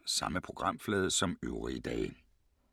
Samme programflade som øvrige dage